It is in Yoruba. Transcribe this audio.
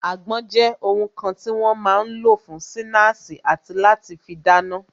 Àgbon jẹ́ ohun kan tí wọ́n máa ń lò fún sinasi àti láti fi dáná